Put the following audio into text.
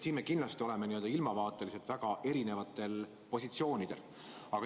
Siin me kindlasti oleme ilmavaateliselt väga erinevatel positsioonidel.